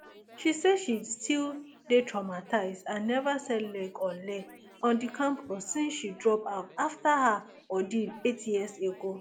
she say she still dey traumatised and neva set leg on leg on di campus since she drop out afta her ordeal eight years ago